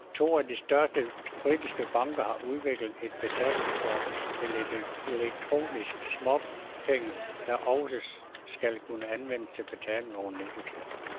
To af de største britiske banker har udviklet et betalingskort til elektroniske småpenge, der også skal kunne anvendes til betaling over nettet.